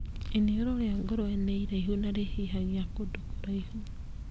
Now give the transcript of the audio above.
Iniũrũ rĩa ngũrũe nĩ iraihu na nĩ rĩhihagia kũndũ kũraihu.